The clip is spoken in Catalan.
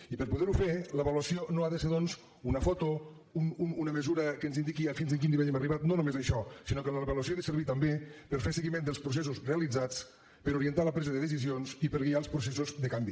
i per a poder ho fer l’avaluació no ha de ser doncs una foto una mesura que ens indiqui fins a quin nivell hem arribat no només això sinó que l’avaluació ha de servir també per a fer seguiment dels processos realitzats per a orientar la pressa de decisions i per a guiar els processos de canvi